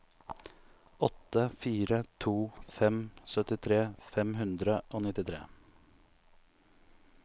åtte fire to fem syttitre fem hundre og nittitre